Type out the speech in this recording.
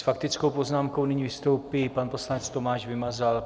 S faktickou poznámkou nyní vystoupí pan poslanec Tomáš Vymazal.